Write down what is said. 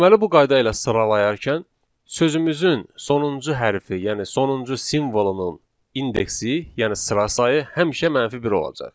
Deməli bu qayda ilə sıralayarkən sözümüzün sonuncu hərfi, yəni sonuncu simvolunun indeksi, yəni sıra sayı həmişə mənfi bir olacaq.